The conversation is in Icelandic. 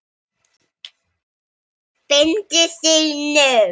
Fengu þau nóg?